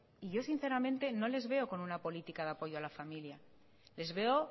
y yo sinceramente no los veo con una política de apoyo a la familia les veo